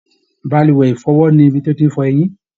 Balùwẹ̀ ifọwọ ni ibi ti o fẹlẹ rẹ eyin.